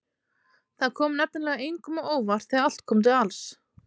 Það kom nefnilega engum á óvart þegar allt kom til alls.